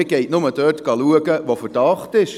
Man geht nur dorthin, wo ein Verdacht besteht.